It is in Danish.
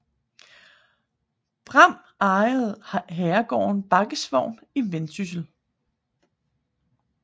Braem ejede herregården Baggesvogn i Vendsyssel